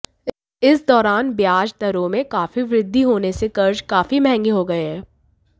इस दौरान ब्याज दरों में काफी वृद्धि होने से कर्ज काफी महंगे हो गए हैं